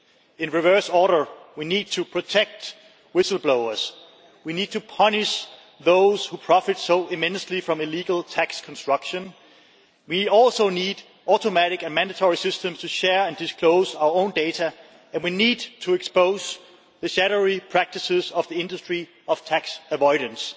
In reverse order we need to protect whistleblowers, we need to punish those who profit so immensely from illegal tax construction, we need automatic and mandatory systems to share and disclose our own data, and we need to expose the shadowy practices of the industry of tax avoidance.